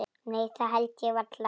Nei það held ég varla.